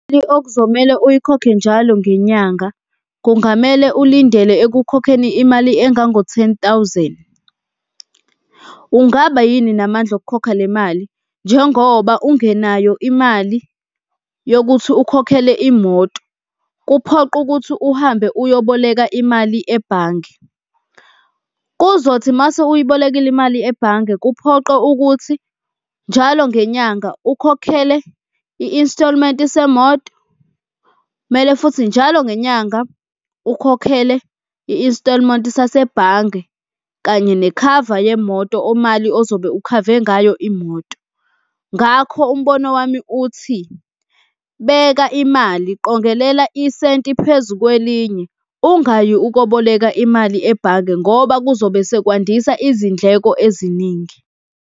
okuzomele uyikhokhe njalo ngenyanga kungamele ulindele ekukhokheni imali engango-ten thousand. Ungaba yini namandla okukhokha le mali njengoba ungenayo imali yokuthi ukhokhele imoto? Kuphoqe ukuthi uhambe uyoboleka imali ebhange. Kuzothi mase uyibolekile imali ebhange kuphoqe ukuthi njalo ngenyanga ukhokhele i-instalment semoto kumele, futhi njalo ngenyanga ukhokhele i-instalment sasebhange kanye nekhava yemoto, imali ozobe ukhave ngayo imoto. Ngakho umbono wami uthi beka imali, qongelela isenti phezu kwelinye ungayi ukoboleka imali ebhange ngoba kuzobe sekwandisa izindleko eziningi.